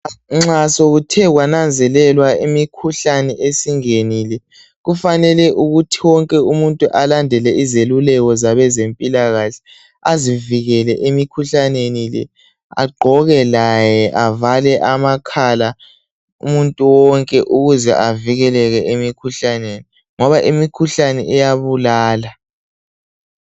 Nxa sekuthe kwananzelelwa imikhuhlane esingenile , kufanele ukuthi wonke umuntu alandele izeluleko zabezempilakahle, azivikele emikhuhlanenile le, agqoke laye avale amakhala, umuntu wonke ukuze avikeleke emikhuhlaneni, ngoma imikhuhlane iyabulala.